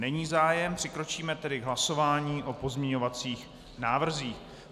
Není zájem, přikročíme tedy k hlasování o pozměňovacích návrzích.